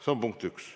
See on punkt üks.